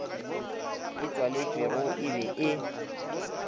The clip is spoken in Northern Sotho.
e tswaletšwego e be e